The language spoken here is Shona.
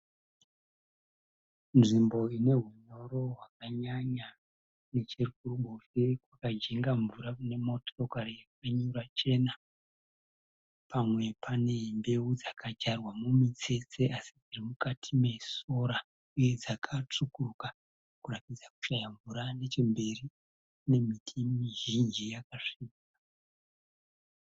Nzvimbo ine hunyoro hwakanyanya. Nechekuruboshwe kwakajenga mvura kune motokari yakanyura chena. Pamwe pane mbeu dzakadyarwa mumitsetse asi dziri mukati mesora uye dzaka tsvukuruka kuratidza kushàyao mvura nechemberi kune miti mizhinji yakasvibira.